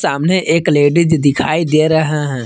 सामने एक लेडिस दिखाई दे रहा है।